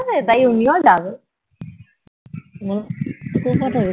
টাও উনিও যাবে